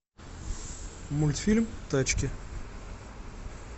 мультфильм тачки